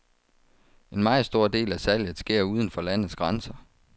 En meget stor del af salget sker uden for landets grænser.